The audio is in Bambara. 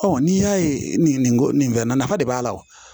n'i y'a ye nin ko nin fɛn na nafa de b'a la wo